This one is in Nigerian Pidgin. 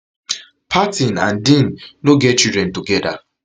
parton and dean no get children togeda